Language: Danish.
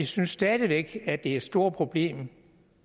synes stadig væk at det er et stort problem